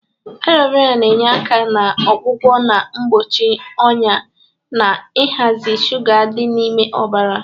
Alo vera na-enye aka na-ọgwọgwọ na mkpọchi ọnya na ịhazị shụga dị n'ime ọbara.